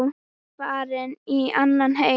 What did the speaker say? Farin í annan heim.